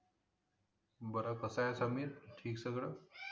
बरं कसं ये समीर ठिक सगळं